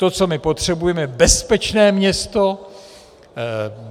To, co my potřebujeme, je bezpečné město.